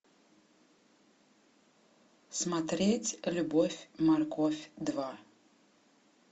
смотреть любовь морковь два